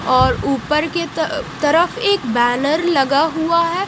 और ऊपर के तरफएक बैनर लगा हुआ है।